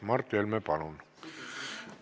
Mart Helme, palun!